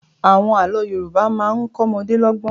Àwọn àlọ́ Yorùbá máa ń kọ ọmọdé lọ́gbọ́n.